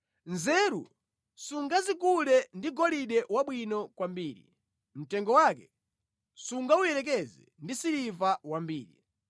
Nzeru sungazigule ndi golide wabwino kwambiri, mtengo wake sungawuyerekeze ndi siliva wambiri.